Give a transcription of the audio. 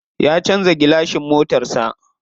Ya canza gilashin motar sa.